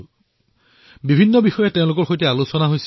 তেওঁলোকৰ সৈতে বহু বিষয়ৰ ওপৰত চৰ্চা হল